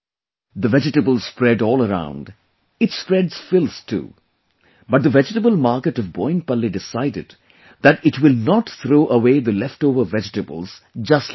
The vegetables spread all around, it spreads filth too, but the vegetable market of Boinpalli decided that it will not throw away the leftover vegetables just like that